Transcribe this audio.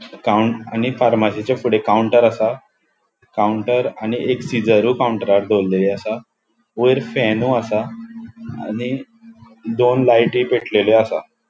काऊन आणि फारमासीच्या फुड़े काउन्टर असा. काउन्टर आणि एक सीजरु काउन्टरार दवरेलेले असा वैर फॅनू असा आणि दोन लायटी पेटलेल्यो असा.